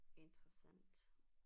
Interessant